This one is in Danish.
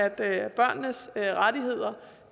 at børnenes rettigheder